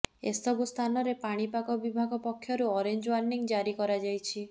ଏସବୁ ସ୍ଥାନରେ ପାଣିପାଗ ବିଭାଗ ପକ୍ଷରୁ ଅରେଞ୍ଜ ୱାର୍ନିଂ ଜାରି କରାଯାଇଛି